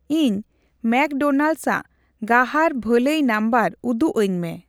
ᱤᱧ ᱢᱮᱠᱰᱳᱱᱟᱞᱰᱥ ᱟᱜ ᱜᱟᱦᱟᱨ ᱵᱷᱟᱹᱞᱟᱹᱭ ᱱᱟᱢᱵᱟᱨ ᱩᱫᱩᱜ ᱟᱹᱧᱢᱮ᱾